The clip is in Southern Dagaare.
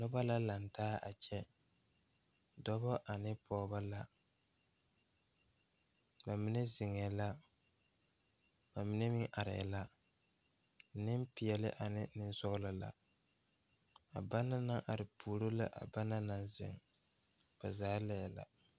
Dɔɔba ne pɔgeba la kaa dɔɔ kaŋa a are a su kpare pelaa kaa Yiri a die dankyini are kaa kolbaare a dɔgle tabol puori la ba zaa laare la.